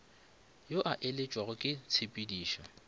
yo a elaetšwago ke tshepidišo